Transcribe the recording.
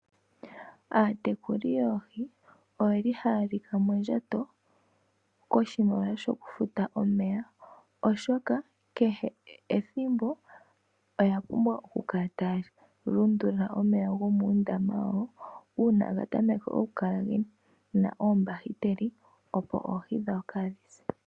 Aatekuli yoohi oyeli haya lika mondjato koshimaliwa shoku futa omeya, oshoka kehe ethimbo oya pumbwa oku kala taya lundulula omeya gomuundama wawo uuna gatameke oku kala gena ondowa opo ohii dhawo kadhi se.